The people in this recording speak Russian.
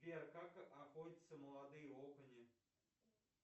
сбер как охотятся молодые окуни